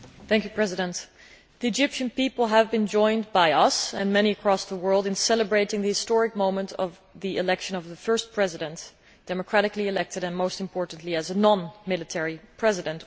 Mr President, the Egyptian people have been joined by us and many across the world in celebrating the historic moment of the election of the first President to be elected democratically and, most importantly, as a non military President.